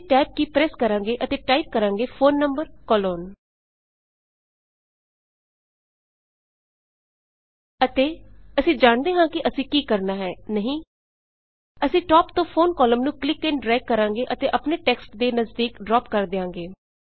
ਅਸੀਂ ਟੈਬ ਕੀ ਪ੍ਰੈਸ ਕਰੋ ਅਤੇ ਟਾਈਪ ਕਰਾਂਗੇ phone number phone number colon ਅਤੇ ਅਸੀਂ ਜਾਣਦੇ ਹਾਂ ਕਿ ਅਸੀਂ ਕੀ ਕਰਣਾ ਹੈ ਨਹੀਂ160 ਅਸੀਂ ਟਾਪ ਤੋਂ ਫੋਨ ਕਾਲਮ ਨੂੰ ਕਲਿੱਕ ਅਤੇ ਡ੍ਰੈਗ ਕਰਾਂਗੇ ਅਤੇ ਆਪਣੇ ਟੈਸਕਟ ਤੇ ਨਜ਼ਦੀਕ ਡ੍ਰਾਪ ਕਰ ਦਿਆਂਗੇ